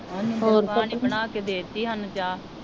ਪਾ ਨੇ ਬਣਾ ਕੇ ਦੇਤੀ ਹਾਨੂੰ ਚਾਹ